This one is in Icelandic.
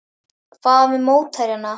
Hvað með mótherjana?